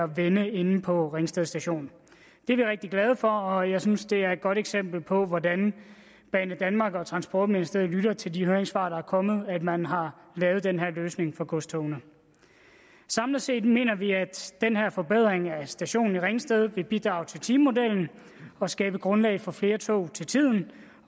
vende inde på ringsted station det er vi rigtig glade for og jeg synes det er et godt eksempel på hvordan banedanmark og transportministeriet lytter til de høringssvar der er kommet at man har lavet den her løsning for godstogene samlet set mener vi at den her forbedring af stationen i ringsted vil bidrage til timemodellen og skabe grundlag for flere tog til tiden